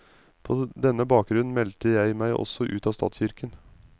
På denne bakgrunnen meldte jeg meg også ut av statskirken.